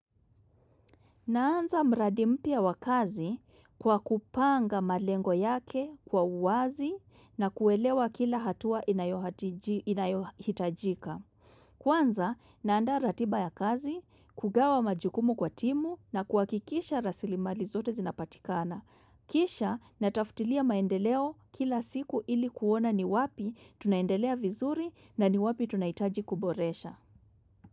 Naanza mradi mpya wa kazi kwa kupanga malengo yake kwa uwazi na kuelewa kila hatua inayohitajika. Kwanza, naandaa ratiba ya kazi, kugawa majukumu kwa timu na kuhakikisha rasilimali zote zinapatikana. Kisha, natafutilia maendeleo kila siku ili kuona ni wapi tunaendelea vizuri na ni wapi tunahitaji kuboresha.